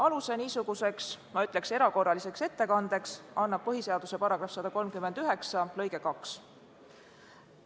Aluse niisuguseks erakorraliseks ettekandeks annab põhiseaduse § 139 lõige 2.